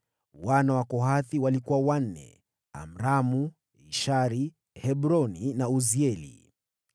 Wana wa Kohathi walikuwa wanne: Amramu, Ishari, Hebroni na Uzieli.